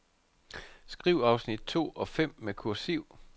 Skriv afsnit to og fem med kursiv.